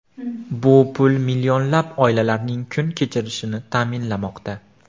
Bu pul millionlab oilalarning kun kechirishini ta’minlamoqda.